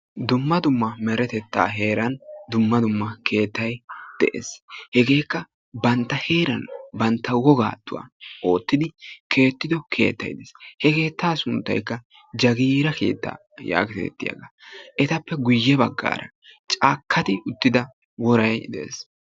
dumma dumma heeran dumma dumma keettay de'ees. hegeekka bantta wogan keexetees. he keetta suntaykka jagiira keetta. etappe guye bagaara caakati utida woray de'ees.